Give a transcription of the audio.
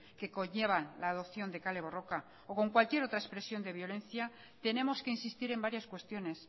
que conlleva la adopción de kale borroka o con cualquier otra expresión de violencia tenemos que insistir en varias cuestiones